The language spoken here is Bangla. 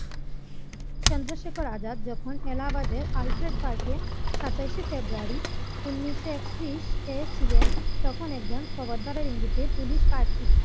চন্দ্রশেখর আজাদ যখন এলাহাবাদের আল ট্রেট পার্কে সাতাশে ফেব্রুয়ারি উনিশশো একত্রিশ এ ছিলেন তখন একজন খবরদারের ইঙ্গিতে পুলিশ তার কীর্তি ।